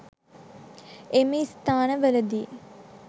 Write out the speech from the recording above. එම ස්ථාන වලදී